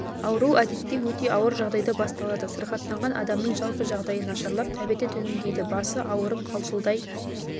ауру әдетте өте ауыр жағдайда басталады сырқаттанған адамның жалпы жағдайы нашарлап тәбеті төмендейді басы ауырып қалшылдай